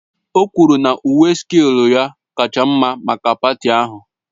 O kwuru na uwe sílku ya kacha mma maka paati ahụ